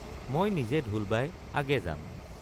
মই নিজে ঢোল বায় আগে যাম।